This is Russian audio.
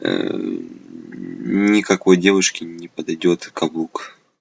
ээ никакой девушки не подойдёт каблук